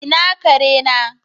Ina kare na?